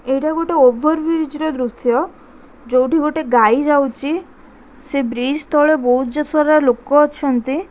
ଏଇଟା ଗୋଟେ over bridge ର ଦୃଶ୍ୟ ଯୋଉଠି ଗୋଟେ ଗାଈ ଯାଉଚି ସେ ବ୍ରିଜ ତଳେ ବହୁତ୍ ଜ ସାରା ଲୋକ ଅଛନ୍ତି।